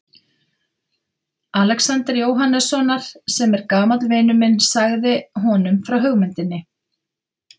Alexanders Jóhannessonar, sem er gamall vinur minn og sagði honum frá hugmyndinni.